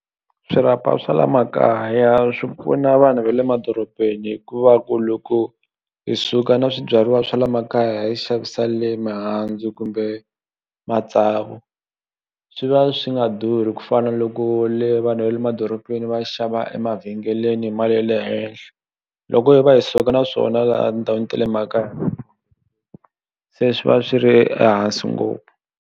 Swirhapa swa la makaya swi pfuna vanhu va le madorobeni hikuva ku loko hi suka na swibyariwa swa le makaya hi ya yi xavisa le mihandzu kumbe matsavu swi va swi nga durhi ku fana na loko le vanhu va le madorobeni va xava emavhengeleni hi mali ya le henhla loko hi va hi suka na swona ndhawini tale mhaka se swi va swi ri ehansi ngopfu.